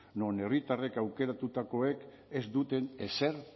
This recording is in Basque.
non herritarrek aukeratutakoek ez duten ezer